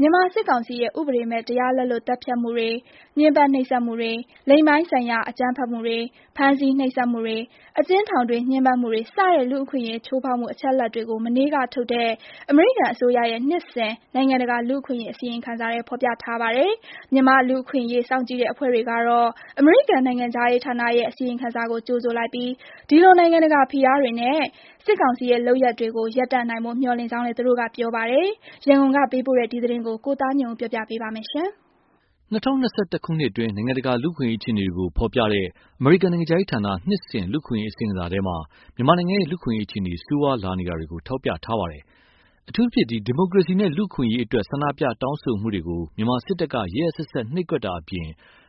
မြန်မာစစ်ကောင်စီရဲ့ ဥပဒေမဲ့ တရားလက်လွတ် သတ်ဖြတ်မှုတွေ၊ ညှင်းပန်းနှိပ်စက်မှုတွေ၊ လိင်ပိုင်းဆိုင်ရာ အကြမ်းဖက်မှုတွေ၊ ဖမ်းဆီးနှိပ်စက်မှုတွေ၊ အကျဉ်းထောင်တွင်း ညှင်းပန်းမှုတွေစတဲ့ လူ့အခွင့်အရေးချိုးဖောက်မှုအချက်အလက်တွေကို မနေ့ကထုတ်တဲ့ အမေရိကန်အစိုးရရဲ့နှစ်စဉ်နိုင်ငံတကာလူ့အခွင့်အရေးအစီရင်ခံစာထဲ ဖော်ပြထားပါတယ်။ မြန်မာ့လူ့အခွင့်အရေး စောင့်ကြည့်တဲ့ အဖွဲ့တွေကတော့ အမေရိကန်နိုင်ငံခြားရေးဌာနရဲ့ အစီရင်ခံစာကို ကြိုဆိုလိုက်ပြီး ဒီလိုနိုင်ငံတကာ ဖိအားတွေနဲ့ စစ်ကောင်စီရဲ့လုပ်ရပ်တွေကို ရပ်တန့်နိုင်ဖို့ မျှော်လင့်ကြောင်းလည်း သူတို့ကပြောပါတယ်။ ရန်ကုန်ကပေးပို့တဲ့ ဒီသတင်းကို ကိုသားညွန့်ဦးက တင်ပြပေးထားပါတယ်။ ၂၀၂၁ ခုနှစ်အတွင်း နိုင်ငံတကာလူ့အခွင့်အရေးအခြေအနေတွေကို ဖော်ပြတဲ့ အမေရိကန်နိုင်ငံခြားရေးဌာန နှစ်စဉ် လူ့အခွင့်အရေးအစီရင်ခံစာထဲ မြန်မာနိုင်ငံရဲ့ လူ့အခွင့်အရေးအခြေအနေ ဆိုးဝါးလာနေတာကို ထောက်ပြထားပါတယ်။ အထူးသဖြင့် ဒီမိုကရေစီနဲ့လူ့အခွင့်အရေးအတွက်ဆန္ဒပြတောင်းဆိုမှုတွေကို မြန်မာစစ်တပ်က ရက်ရက်စက်စက်နှိပ်ကွပ်တာအပြင်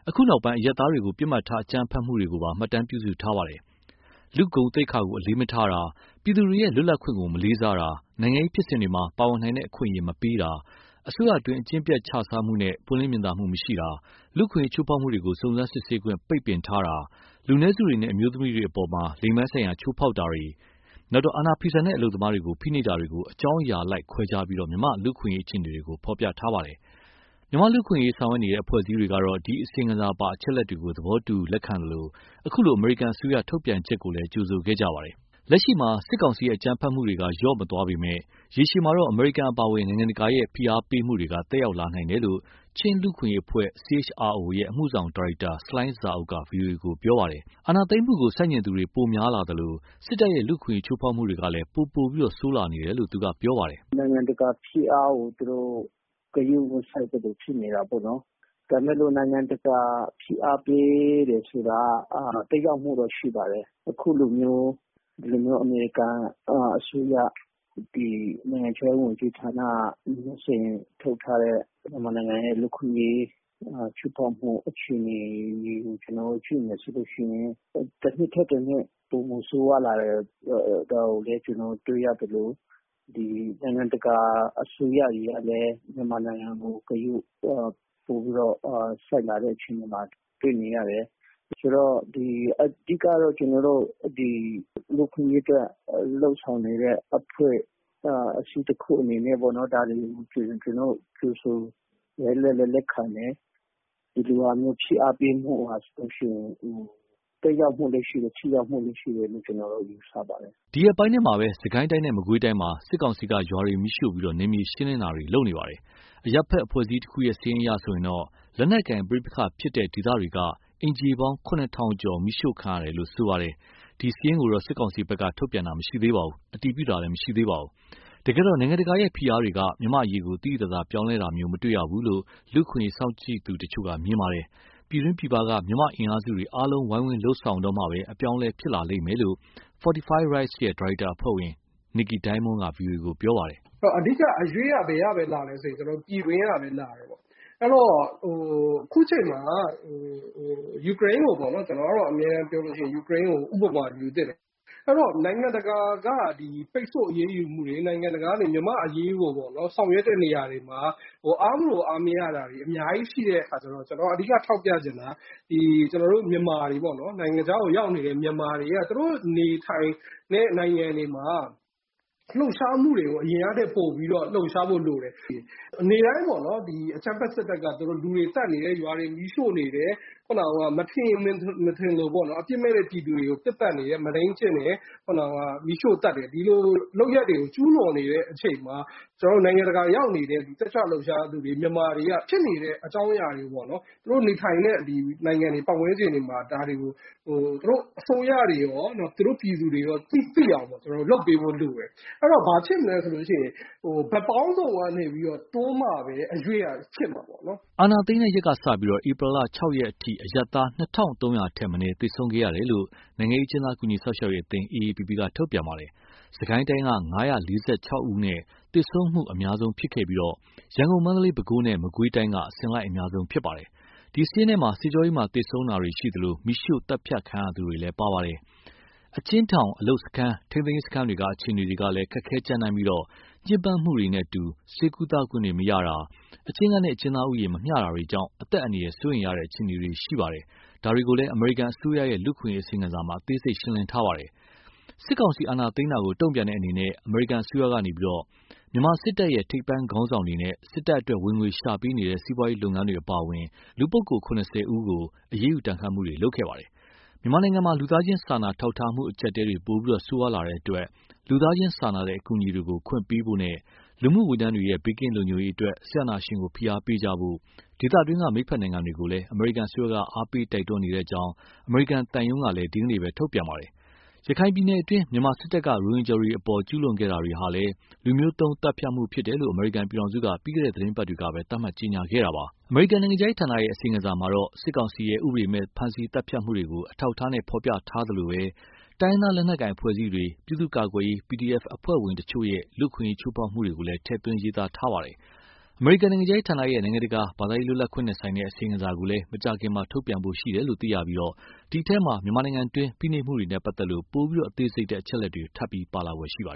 အခုနောက်ပိုင်း အရပ်သားတွေကို ပစ်မှတ်ထားအကြမ်းဖက်တာတွေကိုပါ မှတ်တမ်းပြုစုထားပါတယ်။ လူ့ဂုဏ်သိက္ခာကို အလေးမထားတာ၊ ပြည်သူတွေရဲ့ လွတ်လပ်ခွင့်ကို မလေးစားတာ၊ နိုင်ငံရေးဖြစ် စဉ်မှာ ပါဝင်နိုင်တဲ့အခွင့်အရေး မပေးတာ၊ အစိုးရအတွင်းက အကျင့်ပျက်ခြစားမှုနဲ့ ပွင့်လင်းမြင်သာမှု မရှိတာ၊ လူ့အခွင့်အရေး ချိုးဖောက်မှုတွေကို စုံစမ်းစစ်ဆေးခွင့် ပိတ်ပင်ထားတာ၊ လူနည်းစုတွေနဲ့ အမျိုးသမီးတွေအပေါ် လိင်ပိုင်းဆိုင်ရာ ချိုးဖောက်တာနဲ့ အာဏာဖီဆန်တဲ့ အလုပ်သမားတွေကို ဖိနှိပ်တာတွေကို အကြောင်းအရာအလိုက်ခွဲခြားပြီး မြန်မာ့လူ့အခွင့်အရေးအခြေအနေကို ဖော်ပြထားပါတယ်။ မြန်မာ့လူ့အခွင့်အရေးဆောင်ရွက်နေကြတဲ့အဖွဲ့အစည်းတွေက ဒီ အစီရင်ခံစာပါ အချက်အလက်တွေကို သဘောတူသလို အခုလို အမေရိကန်အစိုးရ ထုတ်ပြန်ချက်ကိုလည်း ကြိုဆိုခဲ့ကြပါတယ်။ လက်ရှိမှာ စစ်ကောင်စီရဲ့ အကြမ်းဖက်မှုတွေကတော့ လျော့မသွားပေမယ့် ရေရှည်မှာ အမေရိကန်အပါအဝင် နိုင်ငံတကာရဲ့ ဖိအားတွေက သက်ရောက်လာနိုင်တယ်လို့ ချင်းလူ့အခွင့်အရေးအဖွဲ့ CHRO ရဲ့ အမှုဆောင်ဒါရိုက်တာ ဆလိုင်းဇာအုပ် က ဗွီအိုအေကို ပြောပါတယ်။ အာဏာသိမ်းတာကို ဆန့်ကျင်သူတွေ ပိုများလာသလို စစ်တပ်ရဲ့ လူ့အခွင့်အရေး ချိုးဖောက်မှုတွေကလည်း ပိုဆိုးလာနေတယ်လို့ သူကပြောပါတယ်။ "နိုင်ငံတကာဖိအားကို သူတို့ ဂရုမစိုက်သလို ဖြစ်နေတာပေါ့နော်။ ဒါပေမယ့် နိုင်ငံတကာက ဖိအားပေးတယ်ဆိုတာက သက်ရောက်မှုတော့ ရှိပါတယ်။ အခုလိုမျိုး အမေရိကန်အစိုးရ နိုင်ငံခြားရေးဝန်ကြီးဌာနက နှစ်စဉ်ထုတ်ထားတဲ့ မြန်မာနိုင်ငံရဲ့ လူ့အခွင့်အရေး ချိုးဖောက်မှု အခြေအနေတွေကို ကျနော်တို့ကြည့်မယ်ဆိုရင် တနှစ်ထက်တနှစ် ပိုမိုဆိုးရွားလာတယ်။ ဒါကိုလည်းတွေ့ရသလို နိုင်ငံတကာအစိုးရတွေကလည်း မြန်မာနိုင်ငံကို ဂရုပိုပြီးတော့ စိုက်လာတဲ့အခြေအနေမှာ တွေ့နေရတယ်။ အဓိကတော့ လူ့အခွင့်အရေးအတွက် လုပ်ဆောင်နေတဲ့ အဖွဲ့အစည်းတခုအနေနဲ့ ဒါတွေကို ကြိုဆိုတယ်၊ လက်လည်းလက်ခံတယ်။ ဒီလိုမျိုး ဖိအားပေးမှုက သက်ရောက်မှုလည်းရှိတယ်၊ ထိရောက်မှုလည်းရှိတယ်လို့ ကျနော်တော့ ယူဆပါတယ်။" ဒီရက်ပိုင်းထဲမှာ စစ်ကိုင်းတိုင်းနဲ့ မကွေးတိုင်းမှာ စစ်ကောင်စီက ရွာတွေမီးရှို့ပြီး နယ်မြေရှင်းလင်းတာတွေ လုပ်နေပါတယ်။ အရပ်ဘက်အဖွဲ့အစည်းတခုရဲ့ စာရင်းအရဆိုရင် လက်နက်ကိုင်ပဋိပက္ခဖြစ်ပွားတဲ့ ဒေသတွေက အိမ်ခြေပေါင်း ၇,၀၀၀ ကျော် မီးရှို့ခံရတယ်လို့ ရေးသားထားပါတယ်။ ဒီစာရင်းကိုတော့ စစ်ကောင်စီဘက်က ထုတ်ပြန်တာ မရှိသေးပါဘူး။ တကယ်တော့ နိုင်ငံတကာရဲ့ဖိအားတွေက မြန်မာ့အရေးကို သိသိသာသာ ပြောင်းလဲခဲ့တာမျိုး မတေ့ရဘူးလို့ လူ့အခွင့်အရေး စောင့်ကြည့်သူတချို့က မြင်ပါတယ်။ ပြည်တွင်းပြည်ပက မြန်မာ့အင်အားစုတွေ အားလုံးဝိုင်းဝန်းလုပ်ဆောင်မှပဲ အပြောင်း အလဲဖြစ်ပေါ်လာလိမ့်မယ်လို့ Fortify Rights ရဲ့ ဒါရိုက်တာအဖွဲ့ဝင် Nickey Diamond က ဗွီအိုအေကို ပြောပါတယ်။ "အဓိက အရွှေ့က ပြည်တွင်းကပဲလာတယ်။ အခုချိန်မှာ ယူကရိန်းကို ဥပမာယူသင့်တယ်။ နိုင်ငံတကာက ပိတ်ဆို့အရေးယူမှုတွေ နိုင်ငံတကာက မြန်မာ့အရေးကို ဆောင်ရွက်တဲ့နေရာမှာ အားမလိုအားမရတာတွေ အများကြီးရှိတဲ့အခါကျတော့ ကျနော်က အဓိကထောက်ပြချင်တာက နိုင်ငံခြားကိုရောက်နေတဲ့ မြန်မာတွေက သူတို့နေထိုင်တဲ့ နိုင်ငံတွေမှာ အရင်ကထက်ပိုပြီး လှုပ်ရှားဖို့လိုတယ်။ နေ့တိုင်း အကြမ်းဖက်စစ်တပ်က လူတွေသတ်နေတယ်။ ရွာတွေမီးရှို့နေတယ်။ မထင်ရင်မထင်သလို အပြစ်မဲ့တဲ့ ပြည်သူတွေကို ပစ်သတ်နေတယ်။ မုဒိမ်းကျင့်နေတယ်။ ဒီလိုလုပ်ရပ်တွေကို ကျူးလွန်နေတဲ့အချိန်မှာ နိုင်ငံတကာရောက်နေတဲ့ တက်ကြွလှုပ်ရှားသူတွေ မြန်မာတွေက ဖြစ်နေတဲ့အကြောင်းအရာတွေကို သူတို့နေထိုင်တဲ့ ပတ်ဝန်းကျင်တွေမှာ သူတို့အစိုးရတွေရော ပြည်သူတွေရော သိအောင်လုပ်ပေးဖို့လိုတယ်။ အဲဒီတော့ ဘာဖြစ်မလဲဆိုရင် ဘက်ပေါင်းစုံကနေပြီးတော့ တွန်းမှပဲ အရွေ့ကဖြစ်မှာပေါ့နော်။" အာဏာသိမ်းတဲ့ရက်ကစပြီး ဧပြီလ ၆ ရက်အထိ အရပ်သား ၂,၃၀၀ ထက်မနည်းသေဆုံးခဲ့တယ်လို့ နိုင်ငံရေးအကျဉ်းသား ကူညီစောင့်ရှောက်ရေးအသင်း AAPP က ထုတ်ပြန်ထားပါတယ်။ စစ်ကိုင်းတိုင်းက ၅၄၆ ယောက်နဲ့ သေဆုံးမှုအများဆုံးဖြစ်ပြီး ရန်ကုန်၊ မန္တလေး၊ ပဲခူးနဲ့ မကွေးတိုင်းက အစဉ်လိုက် အများဆုံးဖြစ်ပါတယ်။ ဒီစာရင်းထဲမှာ စစ်ကြောရေးမှာ သေဆုံးခဲ့တာရှိသလို မီးရှို့သတ်ဖြတ်ခံရသူတွေလည်း ပါပါတယ်။ အကျဉ်းထောင်၊ အလုပ်စခန်း၊ ထိန်းသိမ်းရေးစခန်းတွေက အခြေအနေတွေလည်း ခက်ခဲကြမ်းတမ်းပြီး ညှင်းပန်းမှုတွေနဲ့အတူ ဆေးကုသခွင့်တွေမရတာ၊ အကျဉ်းခန်းနဲ့ အကျဉ်းသားဦးရေ မမျှတာတွေကြောင့် အသက်အန္တရာယ် စိုးရိမ်ရတဲ့အခြေအနေတွေ ရှိပါတယ်။ ဒါတွေကို အမေရိကန်အစိုးရရဲ့ လူ့အခွင့်အရေး အစီရင်ခံစာမှာ အသေးစိတ် ရှင်းလင်းထားပါတယ်။ စစ်ကောင်စီ အာဏာသိမ်းတာကို တုံ့ပြန်တဲ့အနေနဲ့ အမေရိကန်အစိုးရက စစ်တပ် ရဲ့ ထိပ်ပိုင်းခေါင်းဆောင်တွေနဲ့ စစ်တပ်အတွက် ဝင်ငွေရှာပေးနေတဲ့ စီးပွားရေးလုပ် ငန်းတွေ အပါအဝင် လူပုဂ္ဂိုလ် ၇၀ ဦးကို အရေးယူဒဏ်ခတ်မှုတွေ လုပ်ဆောင်ခဲ့ပါတယ်။ မြန်မာနိုင်ငံမှာ လူသားချင်းစာနာ ထောက်ထားမှု အကျပ်အတည်းတွေ ပိုပြီးဆိုးရွားလာတဲ့အတွက် လူသားချင်းစာနာတဲ့ အကူအညီတွေကို ခွင့်ပြုပေးဖို့နဲ့ လူမှုဝန်ထမ်းတွေရဲ့ ဘေးကင်းလုံခြုံရေးအတွက် စစ်အာဏာရှင်ကို ဖိအားပေးကြဖို့ ဒေသတွင်းက မိတ်ဘက်နိုင်ငံတွေကို အမေရိကန်အစိုးရက အားပေး တိုက်တွန်းနေကြောင်း အမေရိကန်သံရုံးကလည်း ဒီကနေ့ ထုတ်ပြန်ထားပါတယ်။ ရခိုင်ပြည်နယ်တွင်း မြန်မာစစ်တပ်က ရိုဟင်ဂျာတွေအပေါ် ကျူးလွန်ခဲ့တာတွေဟာလည်း လူမျိုးသုဉ်းသတ်ဖြတ်မှုဖြစ်တယ်လို့ အမေရိကန်ပြည်ထောင်စုက ပြီးခဲ့တဲ့သတင်းပတ်တွေကပဲ သတ်မှတ်ကြေညာခဲ့တာပါ။ အမေရိကန်နိုင်ငံခြားရေးဌာနရဲ့ အစီရင်ခံစာမှာတော့ စစ်ကောင်စီရဲ့ ဥပဒေမဲ့ ဖမ်းဆီးသတ်ဖြတ်မှုတွေကို အထောက်အထားနဲ့ ဖော်ပြထားသလို တိုင်းရင်းသား လက်နက်ကိုင် အဖွဲ့အစည်းတွေ၊ ပြည်သူ့ကာကွယ်ရေး PDF အဖွဲ့ဝင်တွေရဲ့ လူ့အခွင့်အရေး ချိုးဖောက်မှုတွေကိုလည်း ထည့်သွင်းရေးသားထားပါတယ်။ အမေရိကန် နိုင်ငံခြားရေးဌာနရဲ့ နိုင်ငံတကာ ဘာသာရေးလွတ်လပ်ခွင့်နဲ့ဆိုင်တဲ့ အစီရင်ခံစာကိုလည်း မကြာခင်ထုတ်ပြန်ဖို့ရှိပြီး ဒီအထဲမှာ မြန်မာပြည်တွင်းက ဖိနှိပ် မှုတွေနဲ့ပတ်သက်တဲ့ ပိုပြီးအသေးစိတ်တဲ့ အချက်အလက်တွေ ထပ်ပြီးပါလာဖွယ်ရှိပါတယ်